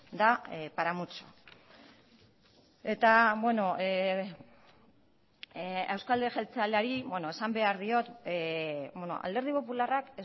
da para mucho eta beno eusko alderdi jeltzaleari esan behar diot alderdi popularrak